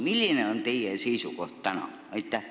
Milline on teie seisukoht täna?